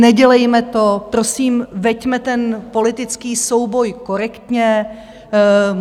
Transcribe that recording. Nedělejme to prosím, veďme ten politický souboj korektně.